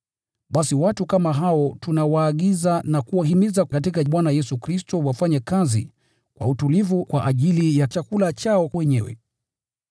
Basi watu kama hao tunawaagiza na kuwahimiza katika Bwana Yesu Kristo, kwamba wafanye kazi kwa utulivu kwa ajili ya chakula chao wenyewe.